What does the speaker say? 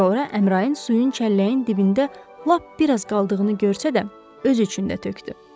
Sonra Əmrain suyun çəlləyin dibində lap bir az qaldığını görsə də, özü üçün də tökdü.